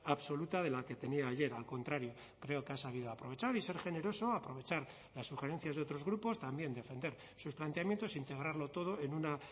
absoluta de la que tenía ayer al contrario creo que ha sabido aprovechar y ser generoso aprovechar las sugerencias de otros grupos también defender sus planteamientos integrarlo todo en una